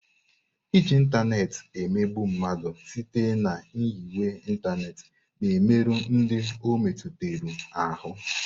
Iji ịntanetị emegbu mmadụ site na nyiwe ịntanetị na-emerụ ndị ọ metụtara ahụ.